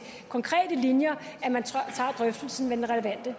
konkrete linjer tager drøftelsen med den relevante